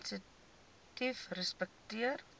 sensitiefrespekteer